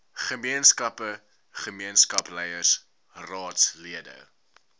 gemeenskappe gemeenskapsleiers raadslede